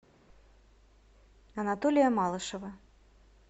анатолия малышева